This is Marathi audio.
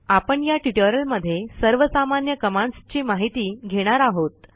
आपण या ट्युटोरियलमध्ये सर्वसामान्य कमांडस् ची माहिती घेणार आहोत